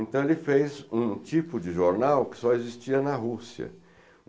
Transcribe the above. Então, ele fez um tipo de jornal que só existia na Rússia.